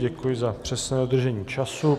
Děkuji za přesné dodržení času.